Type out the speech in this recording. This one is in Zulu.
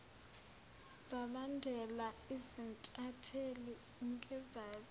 zalandela izintatheli ngezazo